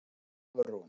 Hafrún